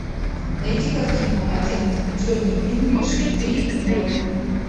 найти картину агент джони инглиш три ноль